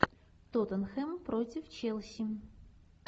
тоттенхэм против челси